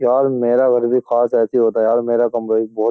यार मेरा घर भी काश ऐसा ही होता यार मेरा कमरा भी बहुत --